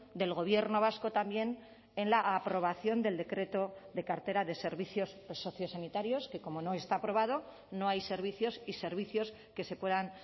del gobierno vasco también en la aprobación del decreto de cartera de servicios sociosanitarios que como no está aprobado no hay servicios y servicios que se puedan